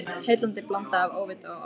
Heillandi blanda af óvita og ofvita.